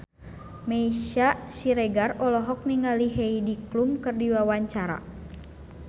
Meisya Siregar olohok ningali Heidi Klum keur diwawancara